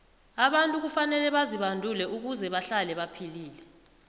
abantu kufanele bazibandule ukuze bahlale baphilile